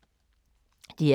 DR K